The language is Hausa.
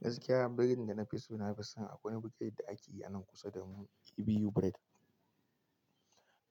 Yanzu kira biredin da na fi so, na fi son akwai wani biredi da ake yi a nan kusa da mu EBU Bired.